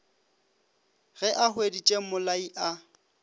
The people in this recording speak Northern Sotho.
ge a hweditše mmolai a